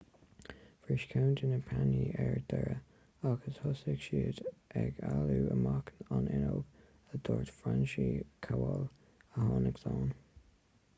bhris ceann de na pánaí ar deireadh agus thosaigh siad ag éalú amach an fhuinneog a dúirt franciszek kowal a tháinig slán